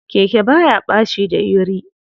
Keke baya ɓaci dayuri.